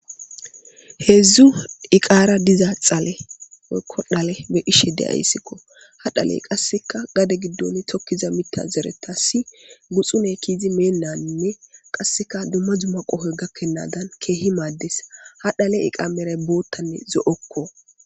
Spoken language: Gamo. Heedzdzu iqaara diza xale kkodhale be dhishe deyayssikko ha dhaley qasseka gade giddon tokkiza mita zereta si guxune kiizi meennaninne qasseka dumma dzumma qohoy gakkennadan keehi maaddes ha dhale iqa meray boottanne zo7okko.